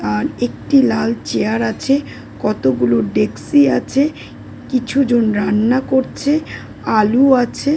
আর একটি লাল চেয়ার আছে। কতগুলো ডেস্কি আছে। কিছু জন রান্না করছে। আলু আছে।